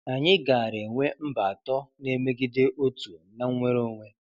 Anyị gaara enwe mba atọ na-emegide otu na nnwere onwe.